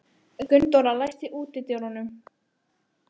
Gunndóra, læstu útidyrunum.